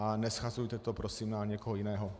A neshazujte to prosím na někoho jiného.